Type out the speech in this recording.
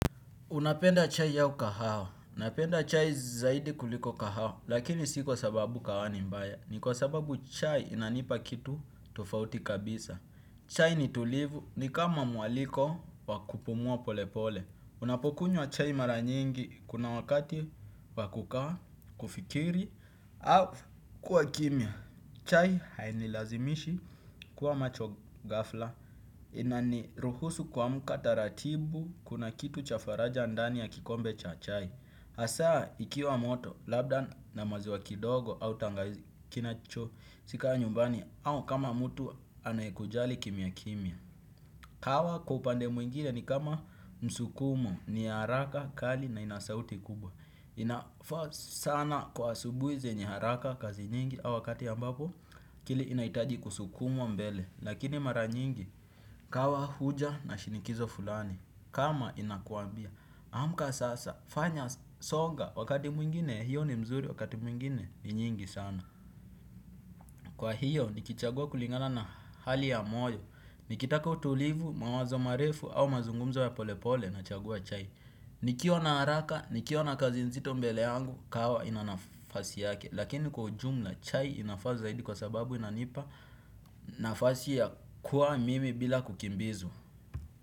Unapenda chai au kahawa. Unapenda chai zaidi kuliko kahao. Lakini si kwa sababu kahawa ni mbaya. Ni kwa sababu chai inanipa kitu tofauti kabisa. Chai ni tulivu ni kama mwaliko wakupumua pole pole. Unapokunywa chai mara nyingi kuna wakati wa kukaa, kufikiri, au kuwa kimya. Chai hainilazimishi kuwa macho gafla. Inaniruhusu kuamka taratibu kuna kitu cha faraja ndani ya kikombe cha chai. Hasaa ikiwa moto, labda na maziwa kidogo au tangawizi kinacho si ka nyumbani. Au kama mtu anayekujali kimia kimia. Kahawa kwa upande mwingine ni kama msukumo ni haraka kali na ina sauti kubwa. Inafa sana kwa asubuhi zenye haraka kazi nyingi au wakati ambapo akili inahitaji kusukumwa mbele. Lakini mara nyingi kahawa huja na shinikizo fulani. Kama inakuambia amka sasa fanya songa wakati mwingine hiyo ni mzuri wakati mwingine ni nyingi sana. Kwa hiyo, nikichagua kulingana na hali ya moyo. Nikitaka utulivu, mawazo marefu au mazungumzo ya pole pole na chagua chai. Nikiwa na haraka, nikiwa na kazi nzito mbele yangu, kahawa ina nafasi yake. Lakini kwa ujumla chai inafaa zaidi kwa sababu inanipa nafasi ya kuwa mimi bila kukimbizwa.